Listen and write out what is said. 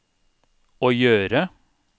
å gjøre